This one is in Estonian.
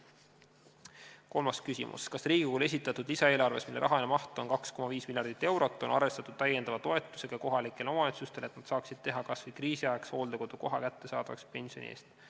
Kolmas küsimus: "Kas Riigikogule esitatud lisaeelarves, mille rahaline maht on 2,5 miljardit eurot, on arvestatud täiendava toetusega kohalikele omavalitsustele, et nad saaksid teha kasvõi kriisiajaks hooldekodu koha kättesaadavaks pensioni eest?